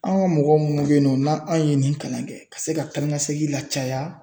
An ka mɔgɔ minnu bɛ yen nɔ n'an anw ye nin kalan kɛ, ka se ka taa ni ka segin la caya